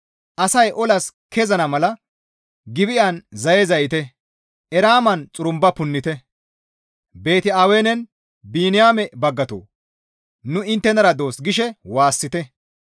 Asay olas kezana mala Gibi7an zaye zayite; Eraaman xurumba punnite. Beeti-Awenen, ‹Biniyaame baggatoo! Nu inttenara doos› gishe waassite.